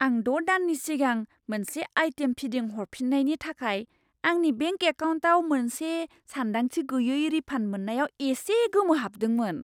आं द' दाननि सिगां मोनसे आइटेम फिदिंहरफिननायनि थाखाय आंनि बेंक एकाउन्टाव मोनसे सानदांथि गैयै रिफान्ड मोन्नायाव एसे गोमोहाबदोंमोन!